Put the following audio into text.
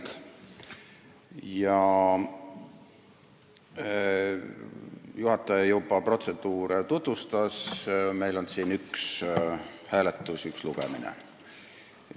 Juhataja tutvustas juba protseduure, et meil on siin hääletus ja üks lugemine.